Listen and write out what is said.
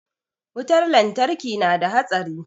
wutar lantarki nada hatsari